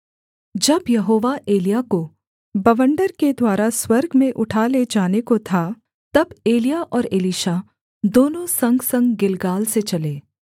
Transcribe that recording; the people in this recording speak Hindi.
जब यहोवा एलिय्याह को बवंडर के द्वारा स्वर्ग में उठा ले जाने को था तब एलिय्याह और एलीशा दोनों संगसंग गिलगाल से चले